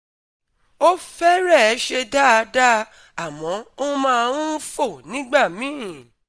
ó fẹ́rẹ̀ẹ́ ṣe dáadáa, àmọ́ ó máa ń fò nígbà míì